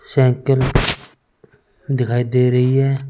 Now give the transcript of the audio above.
Cycle दिखाई दे रही है।